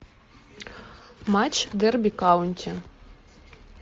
матч дерби каунти